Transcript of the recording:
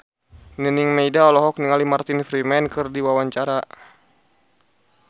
Nining Meida olohok ningali Martin Freeman keur diwawancara